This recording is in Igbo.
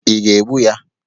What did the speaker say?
Ị ga-egbu ya?